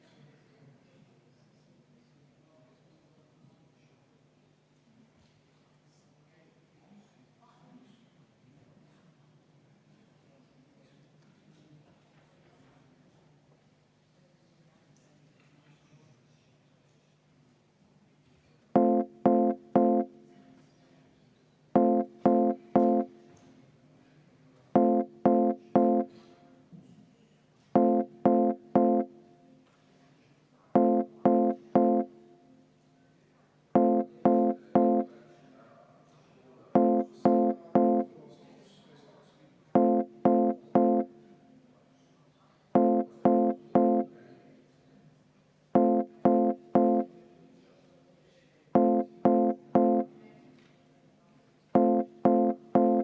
Kas eelnõu või muudatusettepanek, mille te esitasite, on põhiseadusevastane?